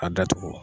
A datugu